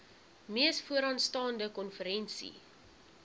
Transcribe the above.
mees vooraanstaande konferensie